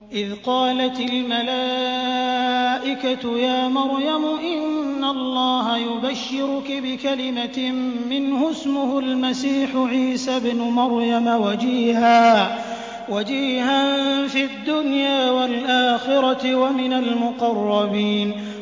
إِذْ قَالَتِ الْمَلَائِكَةُ يَا مَرْيَمُ إِنَّ اللَّهَ يُبَشِّرُكِ بِكَلِمَةٍ مِّنْهُ اسْمُهُ الْمَسِيحُ عِيسَى ابْنُ مَرْيَمَ وَجِيهًا فِي الدُّنْيَا وَالْآخِرَةِ وَمِنَ الْمُقَرَّبِينَ